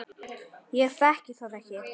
Ég þekki það ekki.